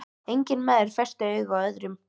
Enginn maður festi augu á öðrum.